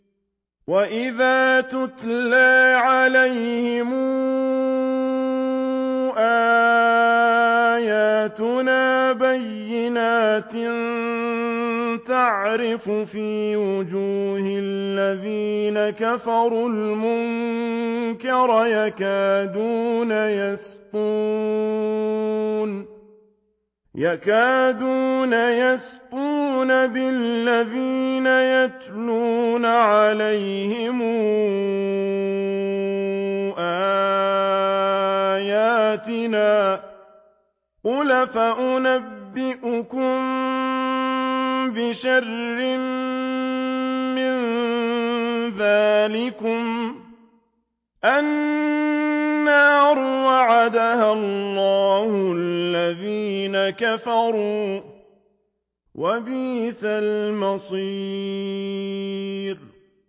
وَإِذَا تُتْلَىٰ عَلَيْهِمْ آيَاتُنَا بَيِّنَاتٍ تَعْرِفُ فِي وُجُوهِ الَّذِينَ كَفَرُوا الْمُنكَرَ ۖ يَكَادُونَ يَسْطُونَ بِالَّذِينَ يَتْلُونَ عَلَيْهِمْ آيَاتِنَا ۗ قُلْ أَفَأُنَبِّئُكُم بِشَرٍّ مِّن ذَٰلِكُمُ ۗ النَّارُ وَعَدَهَا اللَّهُ الَّذِينَ كَفَرُوا ۖ وَبِئْسَ الْمَصِيرُ